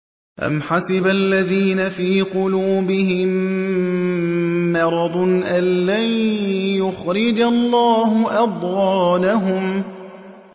أَمْ حَسِبَ الَّذِينَ فِي قُلُوبِهِم مَّرَضٌ أَن لَّن يُخْرِجَ اللَّهُ أَضْغَانَهُمْ